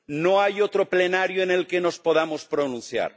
No hay otro Pleno en el que nos podamos pronunciar.